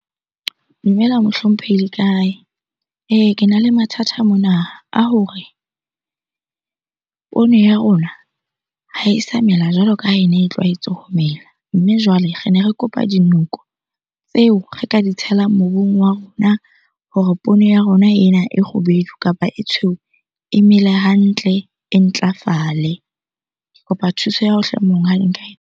Dumela mohlomphehi le kae? Ee Kena le mathata mona a hore poone ya rona ha e sa mela jwalo ka ha ene e tlwaetse ho mela. Mme jwale re ne re kopa dinoko tseo re ka di tshelang mobung wa rona hore poone ya rona ena e kgubedu kapa e tshweu e mele hantle, e ntlafale. Ke kopa thuso ya hao hle monghadi nka .